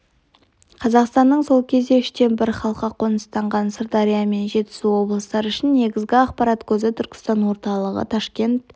қазақстанның сол кезде үштен бір халқы қоныстанған сырдария мен жетісу облыстары үшін негізгі ақпарат көзі түркістан орталығы ташкент